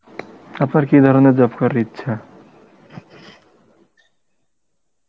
আপনার কী ধরনের job করার ইচ্ছা?